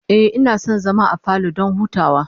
Ehh, ina son zama a falo don hutawa